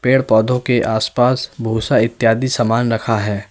पेड़ पौधों के आसपास भूसा इत्यादि समान रखा है।